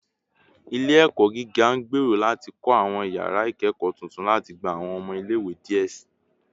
Ile-ẹkọ giga ngbero lati kọ awọn yara ikẹkọ tuntun lati gba awọn ọmọ ile-iwe diẹ sii